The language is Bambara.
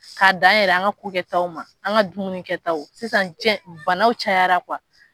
K'a dan yɛrɛ an ka ko kɛ taw ma, an ka dumuni kɛ taw, sisan diɲɛ banaw cayara